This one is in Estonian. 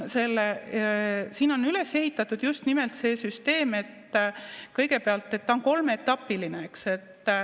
Siin on üles ehitatud just nimelt süsteem, mis kõigepealt on kolmeetapiline.